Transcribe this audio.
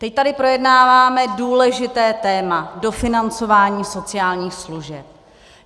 Teď tady projednáváme důležité téma - dofinancování sociálních služeb.